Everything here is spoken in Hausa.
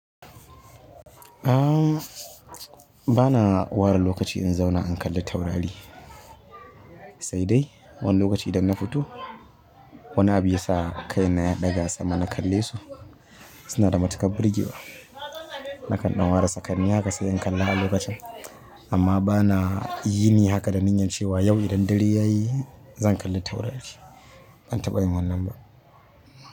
A'a bana ware lokaci in zauna in kalli taurari, sai dai wani lokaci idan na fito. Wani abu yasa kaina ya ɗaga sama na kalle su suna da matuƙar burge wa. Na kanda ware sakanni haka sai in kalla a lokacin amma bana yini haka da niyyar cewa yau idan dare yayi zan kalli taurari. Ban taɓa yin wannan ba.